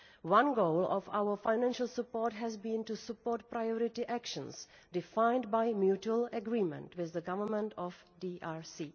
One goal of our financial support has been to support priority actions defined by mutual agreement with the Government of DRC.